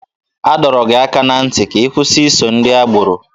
A dọrọ gị aka ná ntị ka ị kwụsị iso ndị agbọrọ!